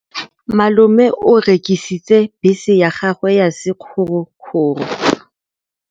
Malome o rekisitse bese ya gagwe ya sekgorokgoro.